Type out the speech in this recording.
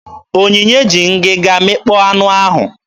Onyinye ji ngịga mịkpọọ anụ ahụ.